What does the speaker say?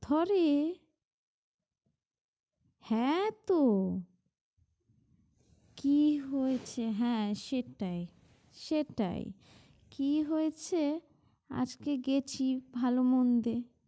ঘরে হ্যাঁ তো কি হয়েছে হ্যাঁ সেটাই সেটাই কি হয়েছে আজকে গেছি ভাল মন দে